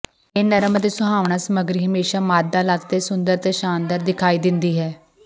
ਇਹ ਨਰਮ ਅਤੇ ਸੁਹਾਵਣਾ ਸਮੱਗਰੀ ਹਮੇਸ਼ਾਂ ਮਾਦਾ ਲੱਤ ਤੇ ਸੁੰਦਰ ਅਤੇ ਸ਼ਾਨਦਾਰ ਦਿਖਾਈ ਦਿੰਦੀ ਹੈ